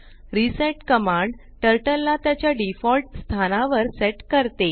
reset command turtle ला त्याच्या default स्थानावर सेट करते